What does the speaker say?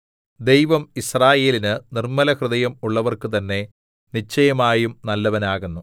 ദൈവം യിസ്രായേലിന് നിർമ്മലഹൃദയം ഉള്ളവർക്ക് തന്നെ നിശ്ചയമായും നല്ലവൻ ആകുന്നു